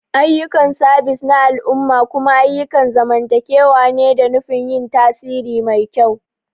Ayyukan sabis na al'umma kuma ayyukan zamantakewa ne da nufin yin tasiri mai kyau.